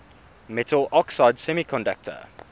metal oxide semiconductor